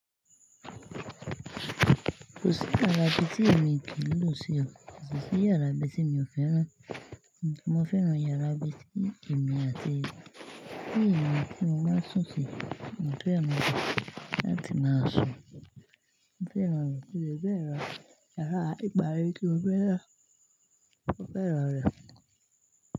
Kò sí yàrá ibi tí èmi kin lò sí ọ, ko si si yàrá ibi tí mi ò fẹ́rán. Nìbí mo fẹ́ ràn yàrá ibi tí èmi àti ìyà mí, tí mo máa ń sùn sí, mo fẹ́ ràn rẹ̀ láti máa sùn. Mo fẹ́ ràn rẹ̀ kí ó fẹ́ ràn yàrá ìgbálè tí ó fẹ́ ràn, ó fẹ́ ràn rẹ̀.